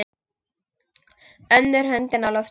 Önnur höndin á lofti.